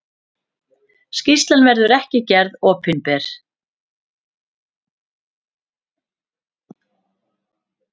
Skýrslan verður ekki gerð opinber.